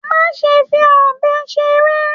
Ma ṣe fi ọbẹ ṣeré!